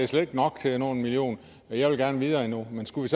slet ikke nok til at nå en million og jeg vil gerne videre endnu men skulle